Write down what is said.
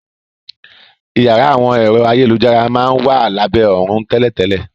Iyàrá àwọn ẹ̀rọ ayélujára máa n wa labẹ òrùn tẹ́lẹ̀tẹ́lẹ̀.